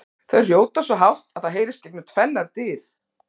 Þau hrjóta svo hátt að það heyrist gegnum tvennar dyr!